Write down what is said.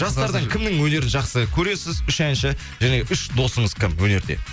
жастардың кімнің өнерін жақсы көресіз үш әнші және үш досыңыз кім өнерде